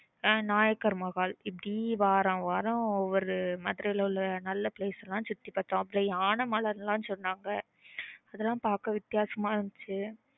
ஆஹ் nayakar mahal இப்பிடி வாரம் வாரம் ஒரு Madurai ல உள்ள நல்ல place லாம் சுத்தி பாத்தியம் அப்புறம்